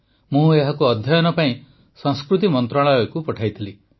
ମୁଁ ଏହାକୁ ଅଧ୍ୟୟନ ପାଇଁ ସଂସ୍କୃତି ମନ୍ତ୍ରଣାଳୟକୁ ପଠାଇଥିଲି